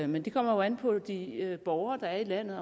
men det kommer jo an på de borgere der er i landet